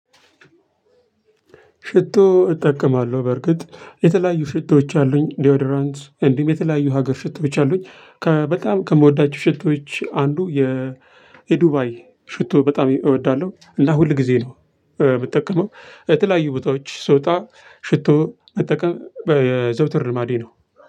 ሽቶ እጠቀማለሁ በርግጥ የተለያዩ ሽቶዎች አሉኝ ዶድራንት እንዲሁም የተለያዩ ሀገር ሽቶዎች አሉኝ። በጣም ከምወዳቸው ሽቶዎች አንዱ የዱባይ ሽቶ በጣም እወዳለሁ። እና ሁል ጊዜ ነው የምጠቀመው የተለያዩ ቦታዎች ስወጣ ሽቶ መጠቀም የዘውትር ልማዴ ነው።